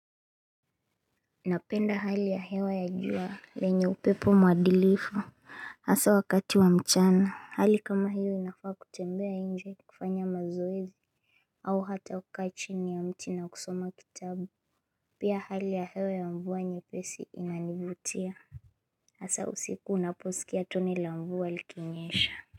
Napenda hali ya hewa ya jua yenye upepo mwadilifu Hasa wakati wa mchana hali kama hiyo inafaa kutembea nje kufanya mazoezi au hata kukaa chini ya mti na kusoma kitabu Pia hali ya hewa ya mvua nyepesi inanivutia Hasa usiku unaposikia toni la mvua likinyesha.